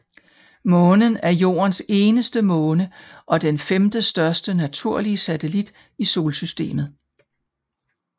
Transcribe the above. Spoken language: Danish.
Månen er Jordens eneste måne og den femtestørste naturlige satellit i solsystemet